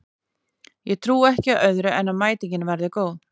Ég trúi ekki öðru en að mætingin verði góð.